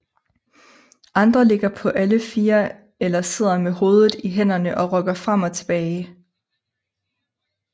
Andre ligger på alle 4 eller sidder med hovedet i hænderne og rokker frem og tilbage